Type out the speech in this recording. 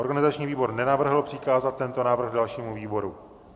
Organizační výbor nenavrhl přikázat tento návrh dalšímu výboru.